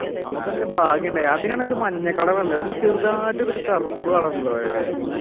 നമുക്കിത്തിരി ഭാഗ്യണ്ടായി അതിനാണെങ്കിൽ ഒരു മഞ്ഞ color അല്ലേ ചെറുതായിട്ട് ഒരു കറുപ്പ് color ഉള്ളത് അല്ലേ